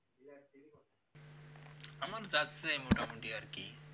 মোটামোটি আর কি